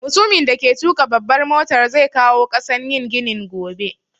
Mutumin da ke tuƙa babbar motar zai kawo ƙasan yin ginin gobe